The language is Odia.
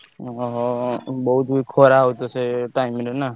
ଓହୋ ହୋ ବୋହୁତ ଖରା ହଉଛି ତ ସେଇ time ରେ ନା?